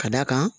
Ka d'a kan